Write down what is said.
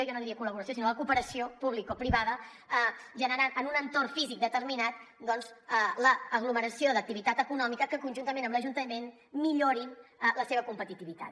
jo no diria col·laboració sinó la cooperació publicoprivada per generar en un entorn físic determinat l’aglomeració d’activitat econòmica que conjuntament amb l’ajuntament millori la seva competitivitat